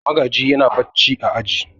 Magaji yana barci a aji.